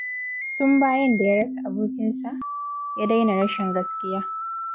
Tun bayan da ya rasa abokinsa, ya daina raina gaskiya.